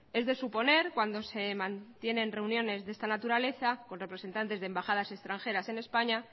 es de suponer cuando se mantienen reuniones de esta naturaleza con representantes de embajadas extranjeras en españa